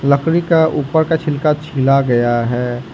लकड़ी ऊपर का छिलका खिल गया है।